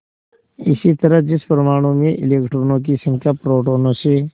इसी तरह जिस परमाणु में इलेक्ट्रॉनों की संख्या प्रोटोनों से